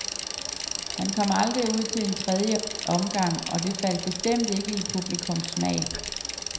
Han kom aldrig ud til den tredje omgang, og det faldt bestemt ikke i publikums smag.